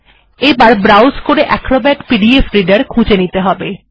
এবার ব্রাউস করে Acrobat PDF reader খুঁজে নিতে হবে